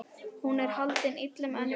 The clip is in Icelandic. Hún er haldin illum öndum.